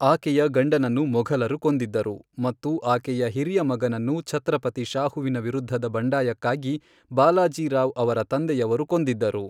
ಆಕೆಯ ಗಂಡನನ್ನು ಮೊಘಲರು ಕೊಂದಿದ್ದರು, ಮತ್ತು ಆಕೆಯ ಹಿರಿಯ ಮಗನನ್ನು ಛತ್ರಪತಿ ಶಾಹುವಿನ ವಿರುದ್ಧದ ಬಂಡಾಯಕ್ಕಾಗಿ ಬಾಲಾಜಿ ರಾವ್ ಅವರ ತಂದೆಯವರು ಕೊಂದಿದ್ದರು.